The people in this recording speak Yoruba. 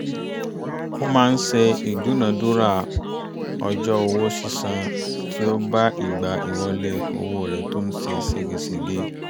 ó máa ń ṣe ìdúnadúrà ọjọ́ owó sísan tí ó bá ìgbà ìwọlé owó rẹ̀ tó ń ṣe ségesège